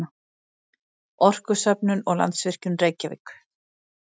Orkustofnun og Landsvirkjun, Reykjavík.